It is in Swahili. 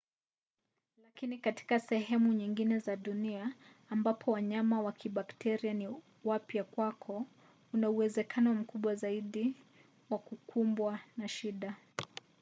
lakini katika sehemu nyingine za dunia ambapo wanyama wa kibakteria ni wapya kwako una uwezekano mkubwa zaidi wa kukumbwa na shida